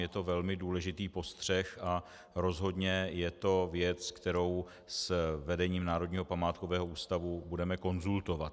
Je to velmi důležitý postřeh a rozhodně je to věc, kterou s vedením Národního památkového ústavu budeme konzultovat.